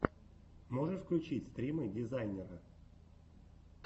можешь включить стримы дизайнера